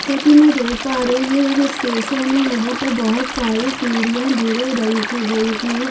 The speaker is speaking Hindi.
जैसा की मैं देख पा रही हूँ ये एक स्टेशन है यहाँ पर बहुत सारी सीढ़ियां भूरे रंग की रंग की है।